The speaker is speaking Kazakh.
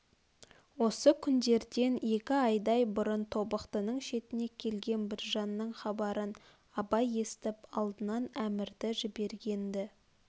осы күндерден екі айдай бұрын тобықтының шетіне келген біржанның хабарын абай естіп алдынан әмірді жіберген-ді